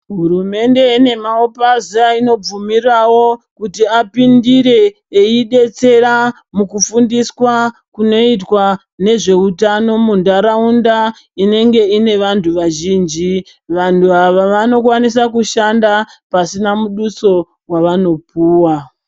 Hurumende ine maopasi ainobvumira kuti apindire eidetsera mukufundiswa kunoitwa nezveutano nharaunda inenge ine vantu vazhinji. Vanhu ava vanokwanisa kushanda pasina muduso wavanopuwa.